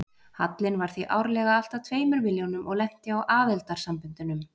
Hallinn var því árlega alltað tveimur milljónum og lenti á aðildarsamböndunum.